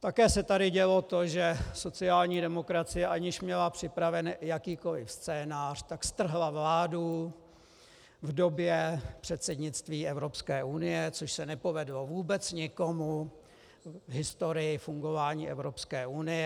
Také se tady dělo to, že sociální demokracie, aniž měla připraven jakýkoliv scénář, tak strhla vládu v době předsednictví Evropské unie, což se nepovedlo vůbec nikomu v historii fungování Evropské unie.